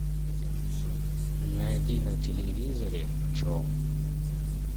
найди на телевизоре че